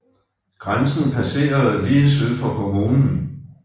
Grænsen passerede lige syd for kommunen